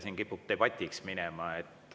Siin kipub debatiks minema.